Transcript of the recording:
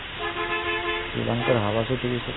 শ্ৰীলংকাৰ hawa চুটি গৈছে